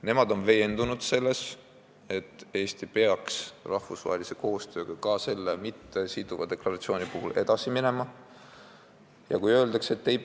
Nemad on veendunud selles, et Eesti peaks ka selle mittesiduva deklaratsiooni puhul rahvusvahelise koostööga edasi minema.